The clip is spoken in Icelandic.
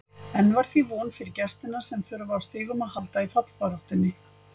Enn var því von fyrir gestina sem þurfa á stigum að halda í fallbaráttunni.